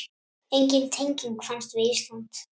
Engin tenging fannst við Ísland.